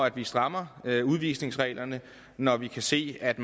at vi strammer udvisningsreglerne når vi kan se at